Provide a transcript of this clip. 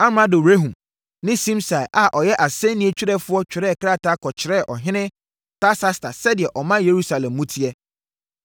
Amrado Rehum ne Simsai a ɔyɛ asɛnniiɛ twerɛfoɔ twerɛɛ krataa kɔkyerɛɛ ɔhene Artasasta sɛdeɛ ɔman Yerusalem mu teɛ.